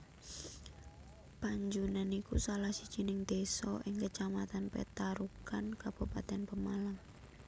Panjunan iku salah sijining desa ing Kecamatan Petarukan Kabupatèn Pemalang